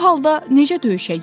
Bu halda necə döyüşəcəyik?